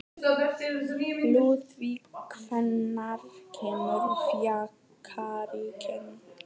Lúðvík, hvenær kemur fjarkinn?